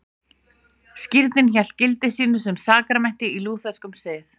Skírnin hélt gildi sínu sem sakramenti í lútherskum sið.